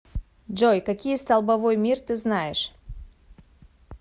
джой какие столбовой мир ты знаешь